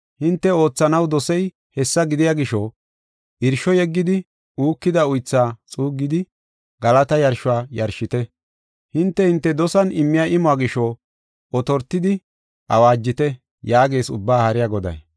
Hinte oothanaw dosey hessa gidiya gisho, Irsho yeggidi uukida oytha xuuggidi, galata yarshuwa yarshite. Hinte hinte dosan immiya imuwa gisho, otortidi awaajite” yaagees Ubbaa Haariya Goday.